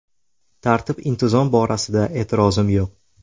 Tartib-intizom borasida e’tirozim yo‘q.